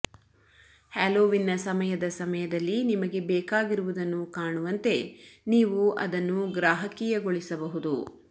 ಹ್ಯಾಲೋವೀನ್ನ ಸಮಯದ ಸಮಯದಲ್ಲಿ ನಿಮಗೆ ಬೇಕಾಗಿರುವುದನ್ನು ಕಾಣುವಂತೆ ನೀವು ಅದನ್ನು ಗ್ರಾಹಕೀಯಗೊಳಿಸಬಹುದು